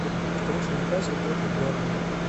встреча ньюкасл против бернли